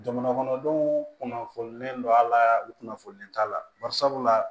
Jamana kɔnɔdenw kunnafonilen do a la u kunnafoni t'a la bari sabula